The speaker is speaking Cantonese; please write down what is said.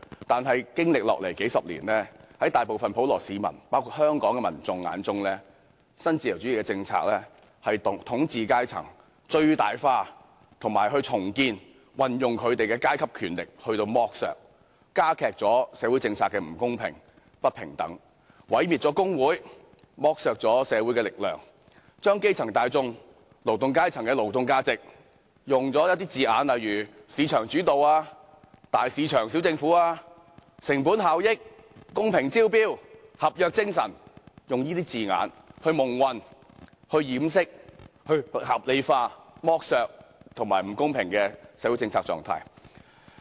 但經過數十年，在大部分普羅市民包括香港民眾眼中，新自由主義的政策將統治階層最大化、重建和運用其階級權力進行剝削、加劇了社會政策的不公平和不平等、毀滅了工會、剝削了社會的力量，以及將基層大眾和勞動階層的勞動價值以"市場主導"、"大市場、小政府"、"成本效益"、"公平招標"、"合約精神"等字眼蒙混過去，以掩飾及合理化剝削和不公平的社會政策狀況。